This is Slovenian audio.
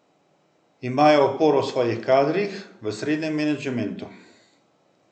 Imajo oporo v svojih kadrih, v srednjem menedžmentu.